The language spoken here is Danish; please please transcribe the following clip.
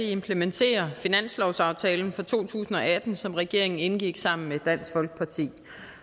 implementerer finanslovsaftalen for to tusind og atten som regeringen indgik sammen med dansk folkeparti